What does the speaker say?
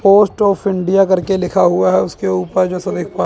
post of India करके लिखा हुआ है उसके ऊपर जैसा देख पा--